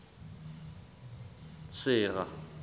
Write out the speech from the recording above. sera